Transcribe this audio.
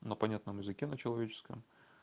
на понятном языке на человеческом